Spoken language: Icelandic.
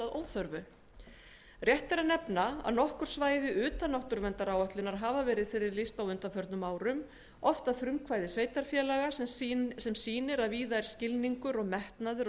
óþörfu rétt er að nefna að nokkur svæði utan náttúruverndaráætlunar hafa verið friðlýst á undanförnum árum oft að frumkvæði sveitarfélaga sem sýnir að víða er skilningur og metnaður